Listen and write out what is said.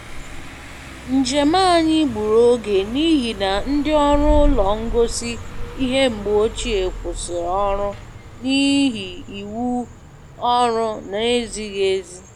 Njem anyị gburu oge n’ihi na ndị ọrụ ụlọ ngosi ihe mgbe ochie kwụsịrị ọrụ n’ihi iwu ọrụ na-ezighị ezi.